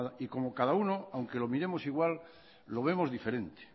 y como cada uno aunque lo miremos igual lo vemos diferente